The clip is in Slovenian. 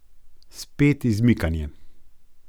Spet izmikanje!